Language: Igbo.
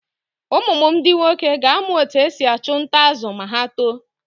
Ụmụ m ndi nwoke ga-amụ otú e si achụ nta azụ̀ ma ha tóó.